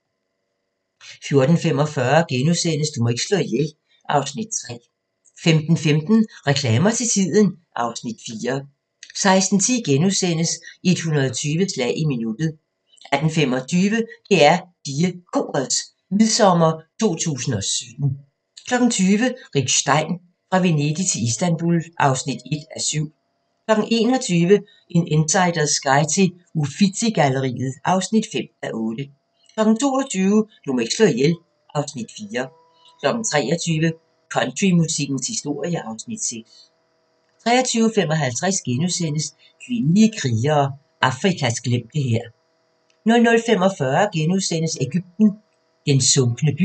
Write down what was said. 14:45: Du må ikke slå ihjel (Afs. 3)* 15:15: Reklamer til tiden (Afs. 4) 16:10: 120 slag i minuttet * 18:25: DR PigeKorets Midsommer 2017 20:00: Rick Stein: Fra Venedig til Istanbul (1:7) 21:00: En insiders guide til Uffizi-galleriet (5:8) 22:00: Du må ikke slå ihjel (Afs. 4) 23:00: Countrymusikkens historie (Afs. 6) 23:55: Kvindelige krigere: Afrikas glemte hær * 00:45: Egypten – den sunkne by *